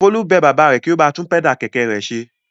Folú bẹ bàbá rẹ̀ kí ó ba tún pẹ́dà kẹ̀kẹ́ rẹ̀ ṣe.